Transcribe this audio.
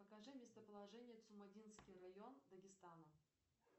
покажи местоположение цумадинский район дагестана